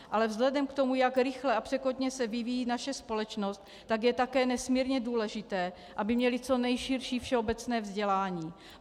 Ale vzhledem k tomu, jak rychle a překotně se vyvíjí naše společnost, tak je také nesmírně důležité, aby měly co nejširší všeobecné vzdělání.